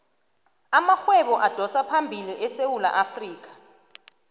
amarhwebo adosaphambili esewula afrikha